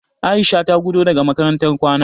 Aisha ta gudo daga makarantar kwana.